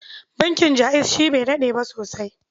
Bankin Jaiz shi bai daɗe ba sosai.